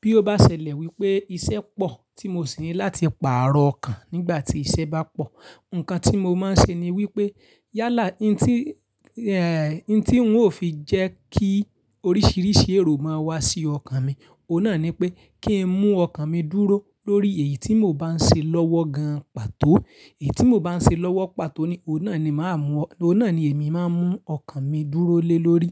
Bí ó bá ṣẹlẹ̀ wípé iṣẹ́ pọ̀ tí mo sì ní láti pààrọ̀ ọkàn nígbà tí iṣẹ́ bá pọ̀, ǹkan tí mo máa ń ṣe ni wípé yálà, n tí, eh, n tí ń ó fi jẹ́ kí oríṣiríṣi èrò má wá sí ọkàn mi, òun náà ni pé kí n mú ọkàn mi dúró lórí èyí tí mò ń bá ń ṣe lọ́wọ́ gan pàtó. Èyí tí mò ń bá ń ṣe lọ́wọ́ pàtó ni, òun náà ni màá mú, òun náà ni èmi máa ń mú ọkàn mi dúró lé lórí.